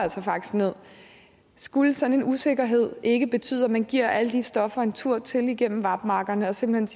nederst skulle sådan en usikkerhed ikke betyde at man giver alle de stoffer en tur til igennem vap markerne og simpelt